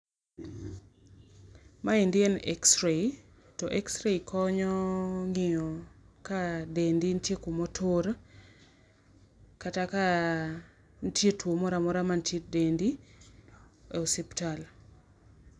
Maendi en X-ray to X-ray konyo ng'iyo ka dendi nitie kuma otur kata ka nitie tuo moro amora mantie e dendi e osiptal.